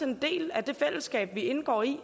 en del af det fællesskab vi indgår i